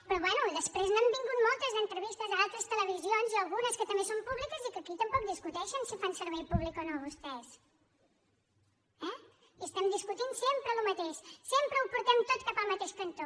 però bé després n’han vingut moltes d’entrevistes a altres televisions i algunes que també són públiques i aquí tampoc discuteixen si fan ser·vei públic o no vostès eh i estem discutint sempre el mateix sempre ho portem tot cap al mateix cantó